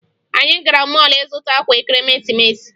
Anyị gara mọọlụ ịzụta akwa ekeresimesi